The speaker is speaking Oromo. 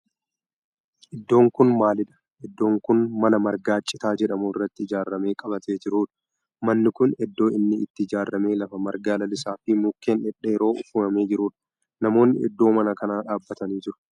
Iddoon kun maalidha? Iddoon kun mana marga citaa jedhamu irraa ijaarame qabatee jirudha. Manni kun iddoo inni itti ijaarame lafa marga lalisaa fi mukkeen dhedheeron uwwifamee jirudha. Namoonni iddoo mana kanaa dhaabbatanii jiru.